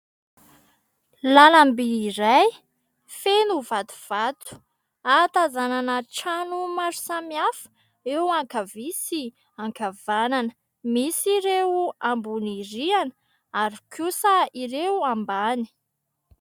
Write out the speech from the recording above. Lalam-by iray feno vatovato ahatazanana trano maro samihafa eo ankavia sy ankavanana. Misy ireo ambony rihana ary kosa ireo ambany.